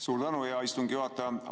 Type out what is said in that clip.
Suur tänu, hea istungi juhataja!